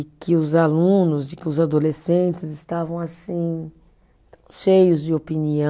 E que os alunos, de que os adolescentes estavam assim cheios de opinião.